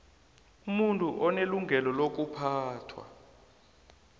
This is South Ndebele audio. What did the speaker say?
umuntu unelungelo lokuphathwa